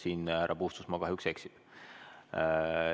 Siin härra Puustusmaa kahjuks eksib.